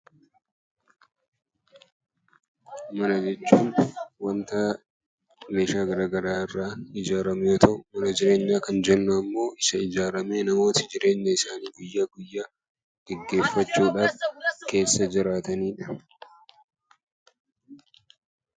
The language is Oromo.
Mana jechuun waanta meeshaa garaagaraa irraa ijaarame yoo ta'u mana jireenyaa Kan jennu ammoo isa ijaaramee namoota jireenya isaanii guyyaa guyyaa gaggeeffachuudhaaf Keessa jiraatanidha.